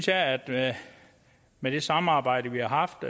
jeg at med det samarbejde vi har haft